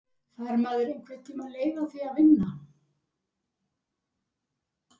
Fær maður einhvern tíma leið á því að vinna?